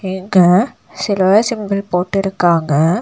இங்க சிலுவ சிம்பல் போட்டிருக்காங்க.